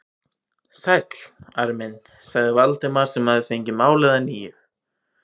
Sæll, Ari minn sagði Valdimar sem fengið hafði málið að nýju.